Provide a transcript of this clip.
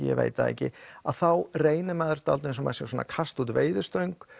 ég veit það ekki þá reynir maður dálítið eins og maður sé að kasta út veiðistöng